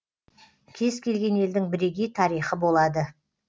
кез келген елдің бірегей тарихы болады